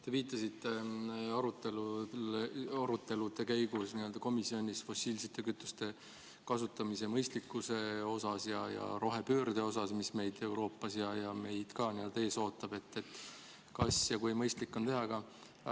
Te viitasite komisjonis arutelude käigus fossiilsete kütuste kasutamisele ja rohepöördele, mis meid Euroopas, sh ka Eestis ees ootab – et kui mõistlik on seda muudatust teha.